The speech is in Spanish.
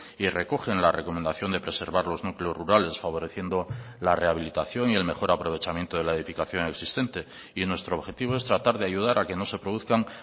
y recogen la recomendación de preservar los núcleos rurales favoreciendo la rehabilitación y el mejor aprovechamiento de la edificación existente y nuestro objetivo es tratar de ayudar a que no se produzcan